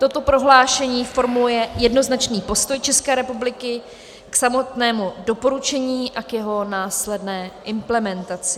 Toto prohlášení formuluje jednoznačný postoj České republiky k samotnému doporučení a k jeho následné implementaci.